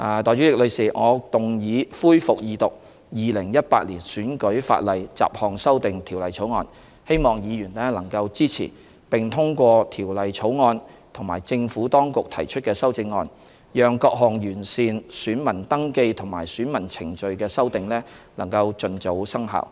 代理主席，我動議恢復二讀《2018年選舉法例條例草案》，希望議員能支持並通過《條例草案》及政府當局提出的修正案，讓各項完善選民登記及選舉程序的修訂盡早生效。